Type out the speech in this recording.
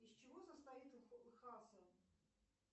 из чего состоит